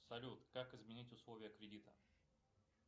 салют как изменить условия кредита